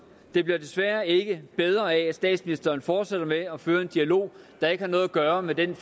det bliver desværre ikke bedre af at statsministeren fortsætter med at føre en dialog der ikke har noget at gøre med den